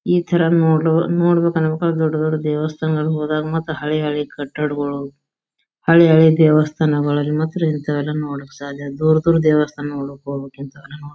ಈ ತರ ನೋಡ್ಲು ನೋಡ್ಬೇಕ ಅನ್ಬೇಕ ಅನ್ನೋದ್ ದೊಡ್ ದೊಡ್ ದೇವಸ್ಥಾನಗಳ ಹೋದಾಗ ಮತ್ತ ಹಳಿ ಹಳಿ ಕಟ್ಟಡಗಳು ಹಳಿ ಹಳಿ ದೇವಸ್ತಾನಗಳು ಅಲ್ಲಿ ಮಾತ್ರ ಇಂಥವೆಲ್ಲ ನೋಡೋಕ ಸಾಧ್ಯ ದೂರ್ ದೂರ್ ದೇವಸ್ಥಾನ್ಕ ಹೋಗ್ಬೇಕು ಇಂಥವ ನೋಡಾಕ.